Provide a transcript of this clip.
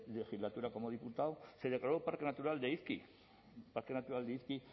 legislatura como diputado se declaró el parque natural de izki el parque natural de izki